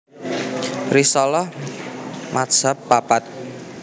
Risalah madzhab papat